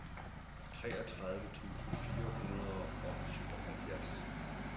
treogtredive tusind fire hundrede og syvoghalvfjerds